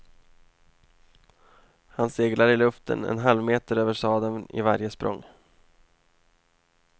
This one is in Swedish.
Han seglar i luften en halvmeter över sadeln i varje språng.